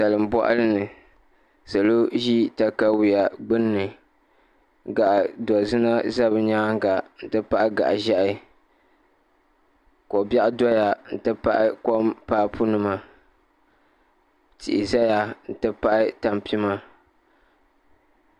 Salin boɣali ni salo ʒi katawiya gbunni gaɣa zina ʒɛ bi nyaanga n ti pahi gaɣa ʒiɛhi ko biɛɣu doya n ti pahi kom papu nima tihi ʒɛya n ti pahi tanpima